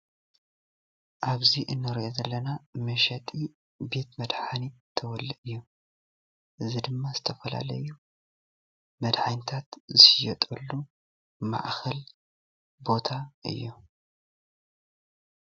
ኣብዚ እንሪኦ ዘለና መሸጢ ቤት መድሓኒት ተወለ እዩ፡፡ እዚ ድማ ዝተፈላለዩ መድሓኒታት ዝሽየጠሉ ማእከል ቦታ እዩ፡፡